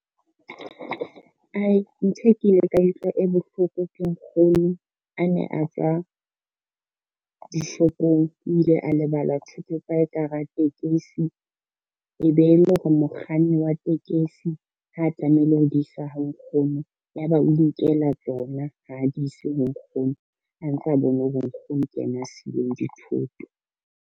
Ay ntho e ke ile kae utlwa e bohloko ke nkgono a ne a tswa dishopong. O ile a lebala thuto tsa hae ka hara tekesi, e be e le hore mokganni wa tekesi ha tlamehile ho di isa ha nkgono, ya ba o inkela tsona ha di ise ho nkgono a ntsa bone hore nkgono ke yena a sileng dithoto.